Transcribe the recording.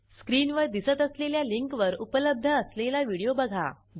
स्क्रीनवर दिसत असलेल्या लिंकवर उपलब्ध असलेला व्हिडिओ बघा